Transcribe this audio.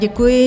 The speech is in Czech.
Děkuji.